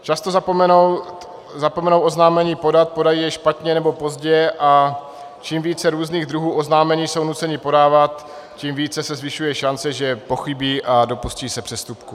Často zapomenou oznámení podat, podají je špatně nebo pozdě, a čím více různých druhů oznámení jsou nuceni podávat, tím víc se zvyšuje šance, že pochybí a dopustí se přestupku.